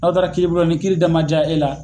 N'aw taara kiiri bulon na ni kiiri da man jaa e la